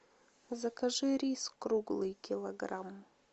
закажи рис круглый килограмм